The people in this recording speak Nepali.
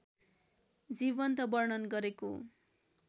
जीवन्त वर्णन गरेको